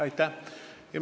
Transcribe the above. Aitäh!